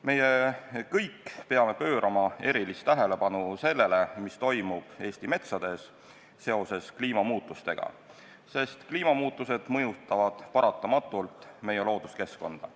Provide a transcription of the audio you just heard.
Me kõik peame pöörama erilist tähelepanu sellele, mis toimub Eesti metsades seoses kliimamuutustega, sest kliimamuutused mõjutavad paratamatult meie looduskeskkonda.